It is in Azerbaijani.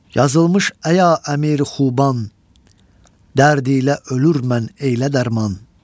Yazılmış əya əmiri xuban, dərdiylə ölür mən eylə dərman.